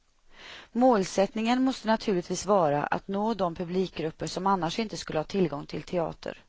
Målsättningen måste naturligtvis vara att nå de publikgrupper som annars inte skulle ha tillgång till teater.